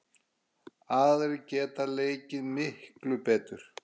Aðrir geta leikið miklu betur.